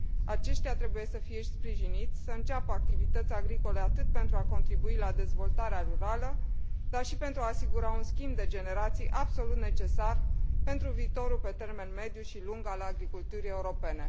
Aceștia trebuie să fie sprijiniți să înceapă activități agricole, atât pentru a contribui la dezvoltarea rurală, dar și pentru a asigura un schimb de generații absolut necesar pentru viitorul pe termen mediu și lung al agriculturii europene.